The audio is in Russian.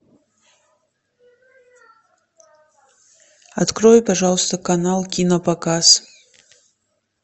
открой пожалуйста канал кинопоказ